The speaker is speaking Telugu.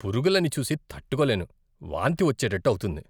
పురుగులని చూసి తట్టుకోలేను, వాంతి వచ్చేటట్టు అవుతుంది.